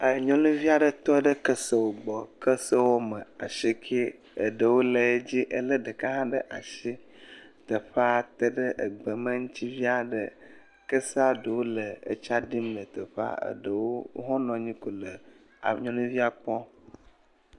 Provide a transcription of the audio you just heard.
Nyɔnuvi aɖe tɔ ɖe kesewo gbɔ. Kese woame asieke, asiekɛ eɖewo le edzi, ele ɖeka hã bɖe asi. Teƒea te ɖe egbeme ŋu trsi. Kesea ɖewo le tsaɖim le teƒea. Eɖewo hã nɔ anyi le nyɔnuvia kpɔm.